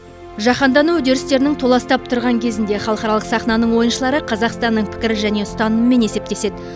жаһандану үдерістерінің толастап тұрған кезінде халықаралық сахнаның ойыншылары қазақстанның пікірі және ұстанымымен есептеседі